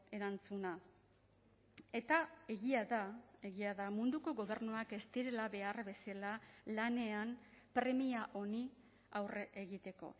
erantzuna eta egia da egia da munduko gobernuak ez direla behar bezala lanean premia honi aurre egiteko